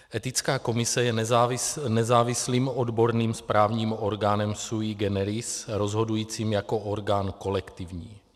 Etická komise je nezávislým odborným správním orgánem sui generis, rozhodujícím jako orgán kolektivní.